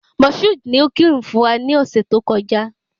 Moshood ni o kí ìrun fún wa ni ọ̀sẹ̀ tó kọjá